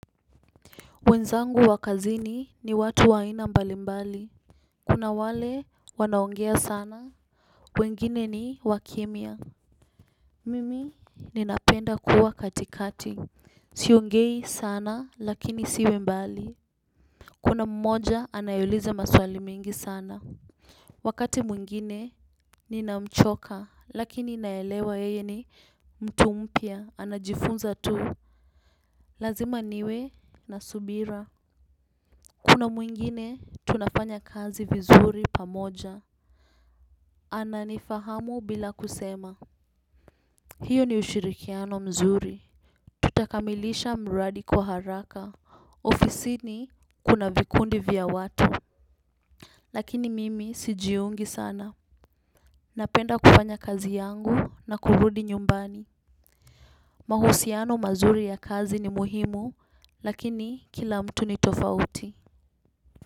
Wenzangu wa kazini ni watu wa aina mbali mbali. Kuna wale wanaongea sana. Wengine ni wakimya mimi ninapenda kuwa katikati. Siongei sana lakini siwe mbali. Kuna mmoja anayeuliza maswali mingi sana. Wakati mwingine ninamchoka lakini naelewa yeye ni mtu mpya anajifunza tu. Lazima niwe na subira. Kuna mwingine, tunafanya kazi vizuri pamoja. Ana nifahamu bila kusema. Hiyo ni ushirikiano mzuri. Tutakamilisha mradi kwa haraka. Ofisini kuna vikundi vya watu. Lakini mimi sijiungi sana. Napenda kufanya kazi yangu na kurudi nyumbani. Mahusiano mazuri ya kazi ni muhimu, lakini kila mtu ni tofauti.